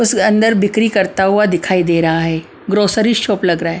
उस अंदर बिक्री करता हुआ दिखाई दे रहा है ग्रोसरी शॉप लग रहा है ।